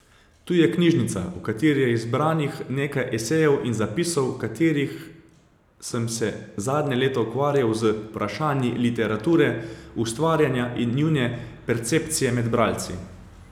Tu je knjižica, v kateri je zbranih nekaj esejev in zapisov, v katerih sem se zadnja leta ukvarjal z vprašanji literature, ustvarjanja in njune percepcije med bralci.